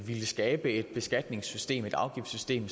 ville skabe et beskatningssystem et afgiftssystem